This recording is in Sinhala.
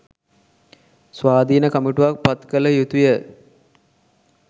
ස්වාධින කමිටුවක් පත් කල යුතුය